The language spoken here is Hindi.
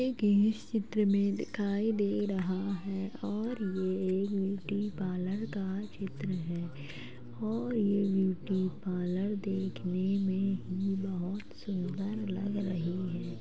एक इस चित्र में दिखाई दे रहा है और ये एक ब्यूटी पार्लर का चित्र है और ये ब्यूटी पार्लर देखने में ही बहुत सुंदर लग रही है।